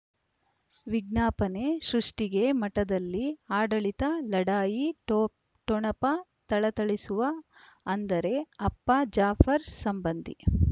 ವಿಜ್ಞಾಪನೆ ಸೃಷ್ಟಿಗೆ ಮಠದಲ್ಲಿ ಆಡಳಿತ ಲಢಾಯಿ ಠೊ ಠೊಣಪ ಥಳಥಳಿಸುವ ಅಂದರೆ ಅಪ್ಪ ಜಾಫರ್ ಸಂಬಂಧಿ